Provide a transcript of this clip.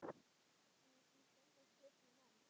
Því stendur turninn enn.